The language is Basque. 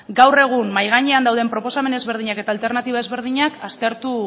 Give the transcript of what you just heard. gaur egun mahai gainean dauden proposamen ezberdinak eta alternatiba ezberdinak